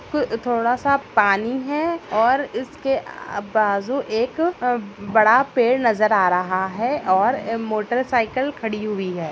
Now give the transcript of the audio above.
थोडा सा पानी है और इसके अ-बाजु एक बड़ा पेड़ नजर आ रहा है और मोटरसाइकिल खड़ी हुई है।